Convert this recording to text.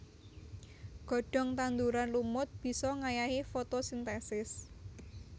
Godhong tanduran lumut bisa ngayahi fotosintesis